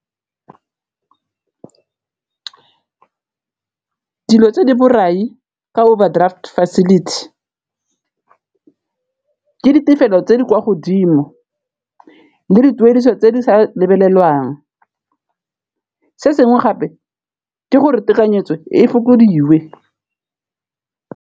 Dilo tse di borai ka overdraft facility ke tse di kwa godimo le dituediso tse di sa lebelelwang, se sengwe gape ke gore tekanyetso e fokodiwe.